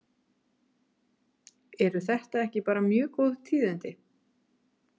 Eru þetta ekki bara mjög góð tíðindi?